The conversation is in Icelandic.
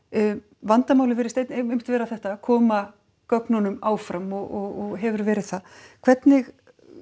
vandamálið virðist einmitt vera þetta að koma gögnunum áfram og hefur verið það hvernig